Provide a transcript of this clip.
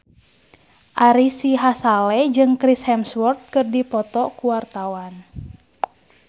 Ari Sihasale jeung Chris Hemsworth keur dipoto ku wartawan